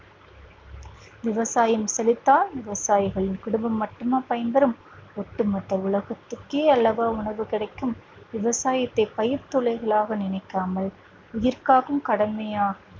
விவசாயம் செழித்தால் விவசாயிகளின் குடும்பம் மட்டுமா பயன்பெறும் ஒட்டு மொத்த உலகத்திற்கே அல்லவா உணவு கிடைக்கும் விவசாயத்தை பயிர் துளிகளாக நினைக்காமல் உயிர் காக்கும் கடமையாக